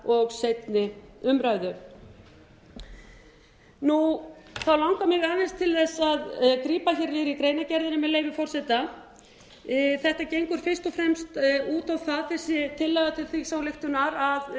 síðari umræðu þá langar mig aðeins til þess að grípa hér niður í greinargerðina þetta gengur fyrst og fremst út á það þessi tillaga til þingsályktunar að